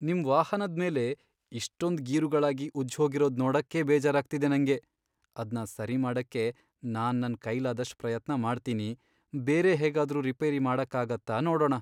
ನಿಮ್ ವಾಹನದ್ಮೇಲೆ ಇಷ್ಟೊಂದ್ ಗೀರುಗಳಾಗಿ ಉಜ್ಜ್ಹೋಗಿರೋದ್ ನೋಡಕ್ಕೇ ಬೇಜಾರಾಗ್ತಿದೆ ನಂಗೆ. ಅದ್ನ ಸರಿ ಮಾಡಕ್ಕೆ ನಾನ್ ನನ್ ಕೈಲಾದಷ್ಟ್ ಪ್ರಯತ್ನ ಮಾಡ್ತೀನಿ. ಬೇರೆ ಹೇಗಾದ್ರೂ ರಿಪೇರಿ ಮಾಡಕ್ಕಾಗತ್ತಾ ನೋಡಣ.